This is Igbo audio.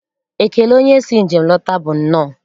Ekele onye si njem lọta bụ nnọọ.